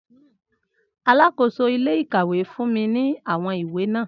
Alakoso ile-ikawe fun mi ni awọn iwe naa